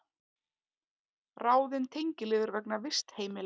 Ráðin tengiliður vegna vistheimila